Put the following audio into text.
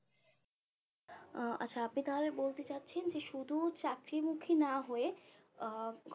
আহ আচ্ছা আপনি তাহলে বলতে চাচ্ছেন যে শুধু চাকরি মুখী না হয়ে আহ